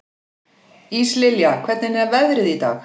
Íslilja, hvernig er veðrið í dag?